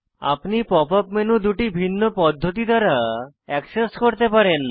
আপনি pop up menu দুটি ভিন্ন পদ্ধতি দ্বারা অ্যাক্সেস করতে পারেন